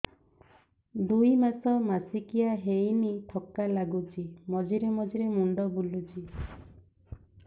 ଦୁଇ ମାସ ମାସିକିଆ ହେଇନି ଥକା ଲାଗୁଚି ମଝିରେ ମଝିରେ ମୁଣ୍ଡ ବୁଲୁଛି